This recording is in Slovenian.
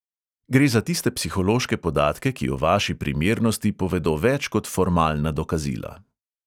Gre za tiste psihološke podatke, ki o vaši primernosti povedo več kot formalna dokazila.